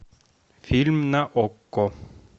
фильм на окко